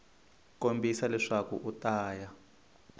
kombisa leswaku u ta ya